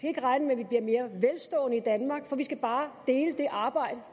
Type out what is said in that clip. ikke regne med at vi bliver mere velstående i danmark for vi skal bare dele det arbejde